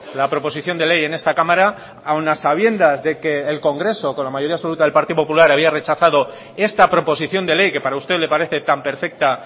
la proposición de ley en esta cámara aun a sabiendas de que el congreso con la mayoría absoluta del partido popular había rechazado esta proposición de ley que para usted le parece tan perfecta